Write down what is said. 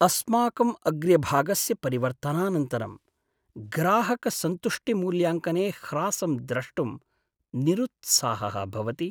अस्माकं अग्र्यभागस्य परिवर्तनानन्तरं ग्राहकसन्तुष्टिमूल्याङ्कने ह्रासं द्रष्टुं निरुत्साहः भवति।